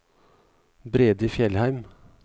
Brede Fjellheim